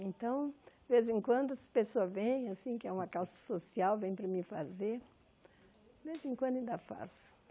Então, de vez em quando as pessoas vêm, assim quer é uma causa social, vêm para mim fazer, de vez em quando ainda faço.